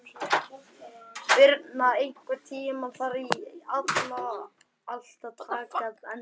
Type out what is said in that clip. Birna, einhvern tímann þarf allt að taka enda.